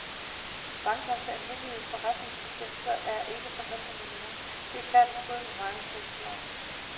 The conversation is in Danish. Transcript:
Bankernes almindelige forretningsbetingelser er ikke forhandlet med nogen, og det er klart i strid med markedsføringsloven.